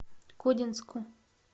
кодинску